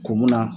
Kun mun na